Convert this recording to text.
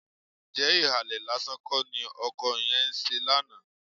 Ǹjẹ́ ìhàlẹ̀ lásán kọ́ ni ọkọ yẹn ń ṣe lánàá?